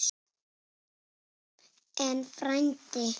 En, frændi